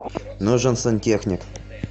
нужен сантехник